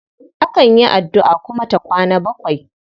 Akan yi addu'a kuma ta kwana bakwai.